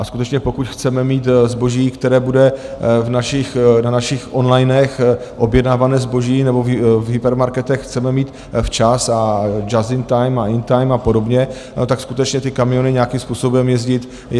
A skutečně, pokud chceme mít zboží, které bude na našich onlinech objednávané zboží nebo v hypermarketech, chceme mít včas a just in time a in time a podobně, tak skutečně ty kamiony nějakým způsobem jezdit musí.